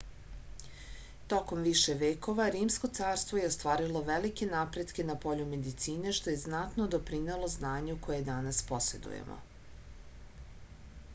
tokom više vekova rimsko carstvo je ostvarilo velike napretke na polju medicine što je znatno doprinelo znanju koje danas posedujemo